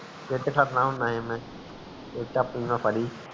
ਜਿਥੇ ਖੜਨਾ ਹੁਣ ਹੈ ਮੈਂ ਤੇ ਚਾਬੀ ਮੈਂ ਫੜੀ